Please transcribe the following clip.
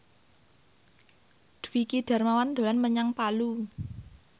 Dwiki Darmawan dolan menyang Palu